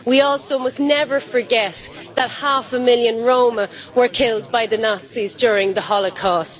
We also must never forget that half a million Roma were killed by the Nazis during the Holocaust.